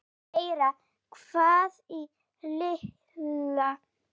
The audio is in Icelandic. Læra meira? hváði Lilla.